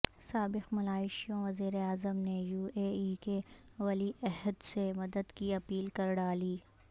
سابق ملائیشوی وزیر اعظم نے یواے ای کے ولی عہد سے مدد کی اپیل کرڈالی